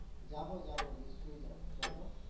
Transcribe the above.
যাবো যাবো নিশ্চয় যাবো, চলো।